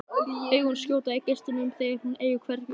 Augun skjóta gneistum þegar hún eygir hvergi undankomuleið.